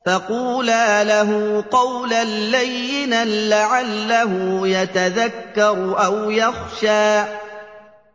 فَقُولَا لَهُ قَوْلًا لَّيِّنًا لَّعَلَّهُ يَتَذَكَّرُ أَوْ يَخْشَىٰ